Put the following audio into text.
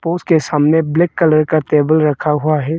उसके सामने black colour का टेबल रखा हुआ है।